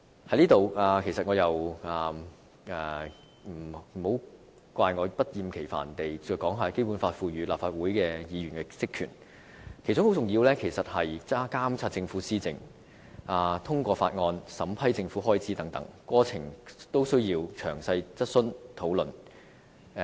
就此，請不要怪我不厭其煩地引述《基本法》賦予立法會議員的職權，其中很重要的一點，是監察政府施政，通過法案和審批政府開支等，過程均須詳細質詢和討論。